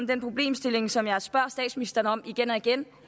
den problemstilling som jeg spørger statsministeren om igen og igen